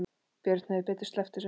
Björn hefði betur sleppt þessu.